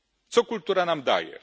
Co kultura nam daje?